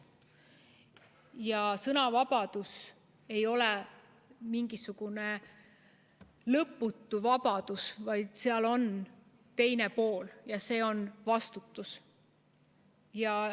Ja sõnavabadus ei ole mingisugune lõputu vabadus, vaid sel on ka teine pool ja see on vastutus.